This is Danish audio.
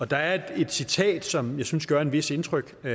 der er et citat som jeg synes gør et vist indtryk og